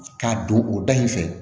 K'a don o dayiri fɛ